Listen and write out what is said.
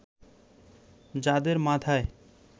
যাদের মাথায়